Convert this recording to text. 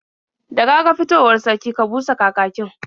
Da ka ga fitowar sarki, ka busa kakakin.